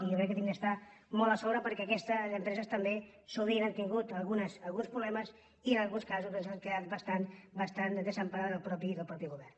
i jo crec que hem d’estar molt a sobre perquè aquestes empreses també sovint han tingut al·guns problemes i en alguns casos doncs han quedat bastant desemparades pel mateix govern